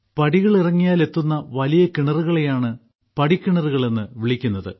പടികൾ ഇറങ്ങിയാൽ എത്തുന്ന വലിയ കിണറുകളെയാണ് പടിക്കിണറുകളെന്ന് വിളിക്കുന്നത്